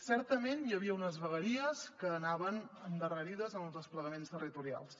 certament hi havia unes vegueries que anaven endarrerides en els desplegaments territorials